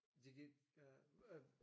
De kan øh